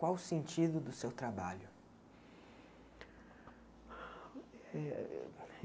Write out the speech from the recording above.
Qual o sentido do seu trabalho? Eh